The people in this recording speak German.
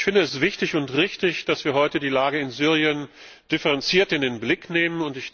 Ich finde es wichtig und richtig, dass wir heute die Lage in Syrien differenziert in den Blick nehmen.